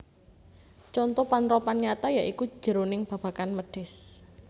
Conto panrapan nyata ya iku jroning babagan mèdhis